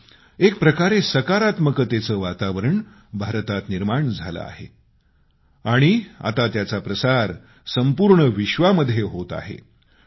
यामुळे एकप्रकारे सकारात्मतेचे वातावरण भारतात निर्माण झालं आहे आणि आता त्याचा प्रसार संपूर्ण विश्वामध्ये होत आहे